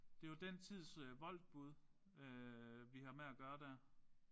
Det jo den tids Woltbud vi har med at gøre der